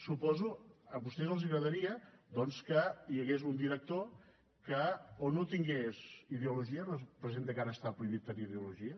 suposo que a vostès els agradaria doncs que hi hagués un director que o no tingués ideologia representa que ara està prohibit tenir ideologia